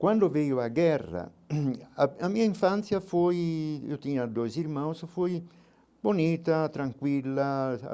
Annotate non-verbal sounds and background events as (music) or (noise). Quando veio a guerra, (coughs) a a minha infância foi, eu tinha dois irmãos, foi bonita, tranquila.